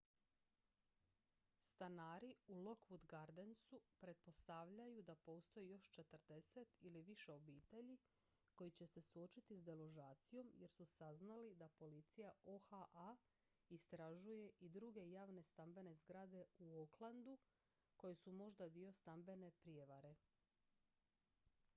stanari u lockwood gardensu pretpostavljaju da postoji još 40 ili više obitelji koji će se suočiti s deložacijom jer su saznali da policija oha istražuje i druge javne stambene zgrade u oaklandu koje su možda dio stambene prijevare